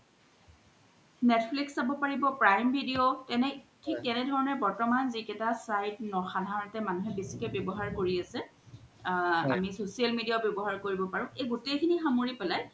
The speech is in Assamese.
netflix চাব পাৰিব prime video থিক তেনে ধৰনে বৰ্তমান জি কেইতা site সাধাৰণতে মানুহে বেচিকে ৱ্যাবহাৰ কৰি আছে আ আমি social media ও ৱ্যাবহাৰ কৰিব পাৰু এই গুতেই খিনি সামৰি পেলাই